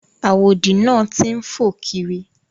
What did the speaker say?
Àwòdì náà ti ń fò kiri.